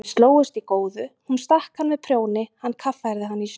Þau slógust í góðu, hún stakk hann með prjóni, hann kaffærði hana í snjó.